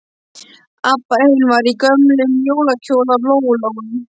Abba hin var í gömlum jólakjól af Lóu Lóu.